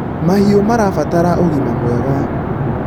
mahiũ marabatara ũgima mwega